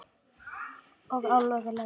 Og alveg laus.